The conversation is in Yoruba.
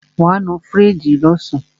Wàá nu fíríjì lọ́sàn.